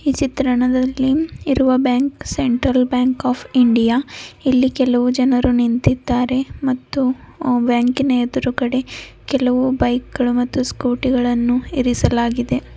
ಈ ಚಿತ್ರಣದಲ್ಲಿ ಇರುವ bank Central Bank of India ಇಲ್ಲಿ ಕೆಲವು ಜನರು ನಿಂತಿದ್ದಾರೆ ಮತ್ತು ಬ್ಯಾಂಕಿನ ಎದುರುಗಡೆ ಕೆಲವು ಬೈಕ್ಗಳು ಮತ್ತು ಸ್ಕೂಟಿ ಗಳನ್ನು ಇರಿಸಲಾಗಿದೆ.